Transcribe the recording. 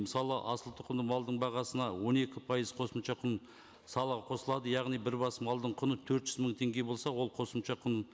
мысалы асылтұқымды малдың бағасына он екі пайыз қосымша кұн салығы қосылады яғни бір бас малдың құны төрт жүз мың теңге болса ол қосымша құн